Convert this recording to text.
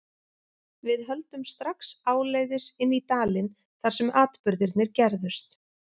Við höldum strax áleiðis inn í dalinn þar sem atburðirnir gerðust.